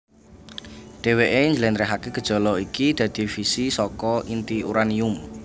Dheweké njlentrehaké gejala iki dadi fisi saka inti uranium